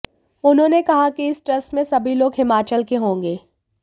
उन्होंने कहा कि इस ट्रस्ट में सभी लोग हिमाचल के होंगे